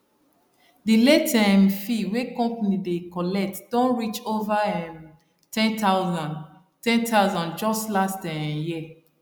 di late um fee wey company dey collect don reach over um ten thousand ten thousand just last um year